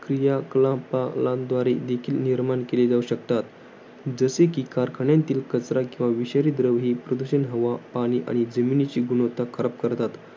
क्रीयाकलापांद्वारे देखील निर्माण केली जाऊ शकतात. जसे कि, कारखान्यातील कचरा किंवा विषारी द्रव ही प्रदूषण, हवा, पाणी, आणि जमिनीची गुणवत्ता खराब करतात.